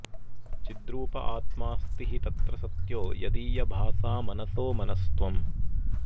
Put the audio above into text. चिद्रूप आत्माऽस्ति हि तत्र सत्यो यदीयभासा मनसो मनस्त्वम्